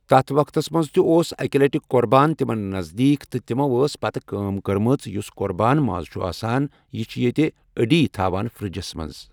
تَتھ وقتَس منٛز تہِ اوٗس اکہِ لَٹہِ قۄربان تِمن نَزدیٖک تہٕ تِمو ٲس پَتہٕ کٲم کٔرمٕژ یُس قۄربان ماز چُھ آسان یہِ چھُ ییٚتہ أڈۍ تھاوان فرِجس منٛز